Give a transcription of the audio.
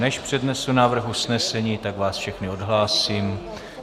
Než přednesu návrh usnesení, tak vás všechny odhlásím.